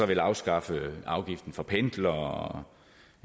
vil afskaffe afgiften for pendlere